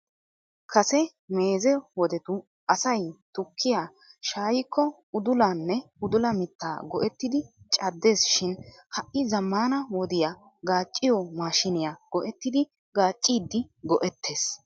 Kase meeze wodetu asay tukkiya shaayyiko idulanne udula mitta go"ettidi caddees shim ha'i zammaana wodiya gaacciyo maashiniyaa go"ettidi gaaccidi go"ettees.